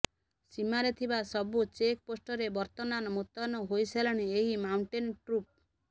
ସୀମାରେ ଥିବା ସବୁ ଚେକ୍ ପୋଷ୍ଟରେ ବର୍ତ୍ତନାନ ମୁତୟନ ହୋଇସାରିଲେଣି ଏହି ମାଉଣ୍ଟେନ୍ ଟ୍ରୁପ୍